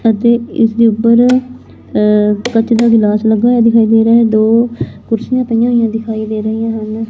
ਅਤੇ ਇਸ ਦੇ ਉੱਪਰ ਅ ਕੱਚ ਦਾ ਗਿਲਾਸ ਲੱਗਾ ਦਿਖਾਈ ਮੇਰੇ ਦੋ ਕੁਰਸੀਆਂ ਪਈਆਂ ਹੋਈਆਂ ਦਿਖਾਈ ਦੇ ਰਹੀਆਂ ਹਨ।